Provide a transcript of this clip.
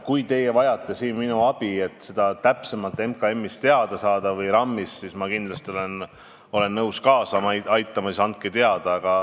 Kui te vajate minu abi, et seda täpsemalt MKM-ist või RM-ist teada saada, siis ma olen kindlasti nõus kaasa aitama, andke siis teada.